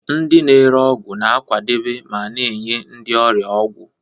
Ndị na-ere ọgwụ na-akwadebe ma na-enye ndị ọrịa ọgwụ.